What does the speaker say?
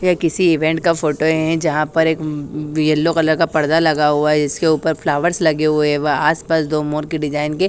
ये किसी इवेंट का फोटो है जहां पर एक येलो कलर का पर्दा लगा हुआ है जिसके ऊपर फ्लावर्स लगे हुए हैं व आसपास दो मोर की डिजाइन के--